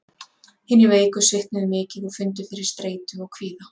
Hinir veiku svitnuðu mikið og fundu fyrir streitu og kvíða.